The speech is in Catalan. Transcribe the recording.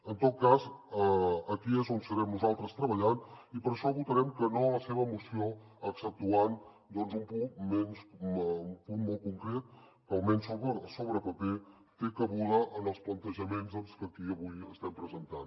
en tot cas aquí és on serem nosaltres treballant i per això votarem que no a la seva moció exceptuant doncs un punt molt concret que almenys sobre paper té cabuda en els plantejaments que aquí avui estem presentant